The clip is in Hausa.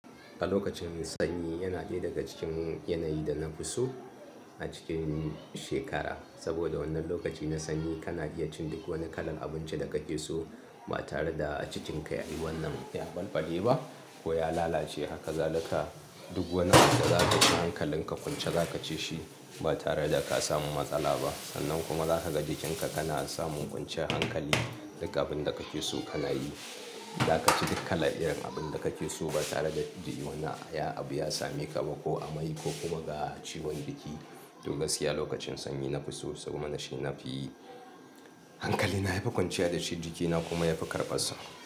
A lokacin sanyi yana ɗaya daga cikin yanayi da na fi so a cikin shekara. Saboda wannan lokaci na sanyi kana iya cin duk wani kalar abinci da kake so ba tare da a jikinka ya yi wannan ya ɓalɓale ba ko ya lalace. Haka zalika duk wani abu da za ka ci hankalin ka kwance za ka ci shi ba tare da ka samu matsala ba. Sannan kuma za ka ga jikinka kana samun kwanciyar hankali. Duk abin da kake so kana yi. Za ka ci duk kala irin abin da kake so ba tare da dai wani abu ya same ka ba ko amai ko kuma ga ciwon jiki. Toh gaskiya lokacin sanyi na fi so saboda na shi na fi hankali, na yafi kwanciya da shi jikina kuma ya fi karɓa sa.